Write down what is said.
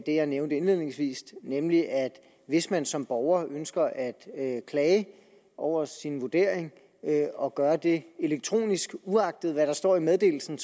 det jeg nævnte indledningsvis nemlig at hvis man som borger ønsker at klage over sin vurdering og gør det elektronisk uagtet hvad der står i meddelelsen